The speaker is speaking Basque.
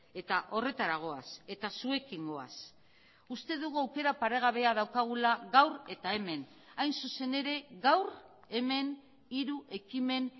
eta horretara goaz eta zuekin goaz uste dugu aukera paregabea daukagula gaur eta hemen hain zuzen ere gaur hemen hiru ekimen